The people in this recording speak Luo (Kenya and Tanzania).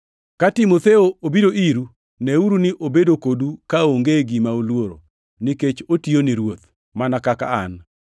Ka Timotheo obiro iru, neuru ni obedo kodu kaonge gima oluoro, nikech otiyo ni Ruoth, mana kaka an.